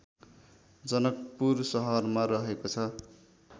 जनकपुर सहरमा रहेको छ